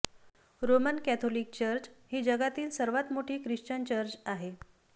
Roman Catholic church ही जगातील सर्वात मोठी ख्रिश्चन चर्च आहे